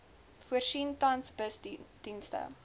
voorsien tans busdienste